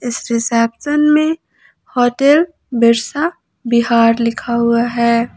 इस रिसेप्शन में होटल बिरसा विहार लिखा हुआ है।